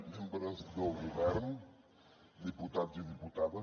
membres del govern diputats i diputades